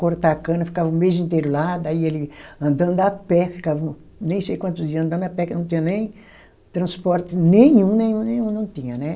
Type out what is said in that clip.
cortar a cana, ficava o mês inteiro lá, daí ele andando a pé, ficava um, nem sei quantos dia andando a pé, que não tinha nem transporte nenhum, nenhum, nenhum, não tinha, né?